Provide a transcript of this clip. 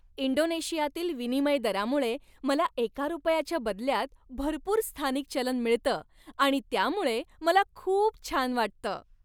इंडोनेशियातील विनिमय दरामुळे मला एका रुपयाच्या बदल्यात भरपूर स्थानिक चलन मिळतं आणि त्यामुळे मला खूप छान वाटतं.